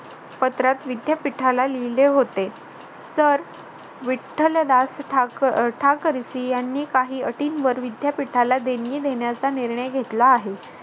पत्रात विद्यापीठाला लिहिले होते तर विठ्ठलदास ठाकर अह ठाकरसी यांनी काही अटींवर विद्यापीठाला देणगी देण्याचा निर्णय घेतला आहे.